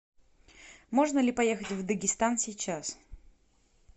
можно ли поехать в дагестан сейчас